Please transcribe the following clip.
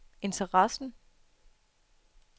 interessen